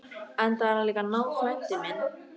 Enda er hann líka náfrændi minn!